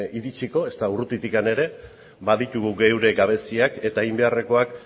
iritsiko ezta urrutitik ere baditugu geure gabeziak eta egin beharrekoak